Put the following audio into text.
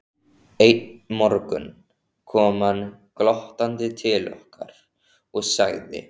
Einn morgun kom hann glottandi til okkar og sagði